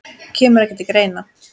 Kemur ekki til greina